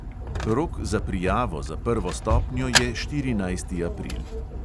Rok za prijavo za prvo stopnjo je štirinajsti april.